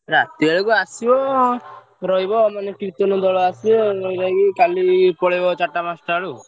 ରାତି ବେଳକୁ ଆସିବ ରଇବ କୀର୍ତ୍ତନ ଦୋଳ ଆସିବ କାଲି ପଳେଇବ ଚାରିଟା ପାଞ୍ଚଟା ବେଳୁକୁ।